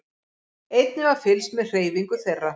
Einnig var fylgst með hreyfingu þeirra